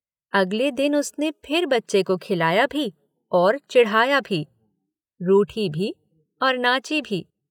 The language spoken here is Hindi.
अगले दिन उसने फिर बच्चे को खिलाया भी और चिढ़ाया भी।